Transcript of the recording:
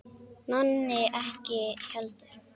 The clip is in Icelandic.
Nonni ekki heldur.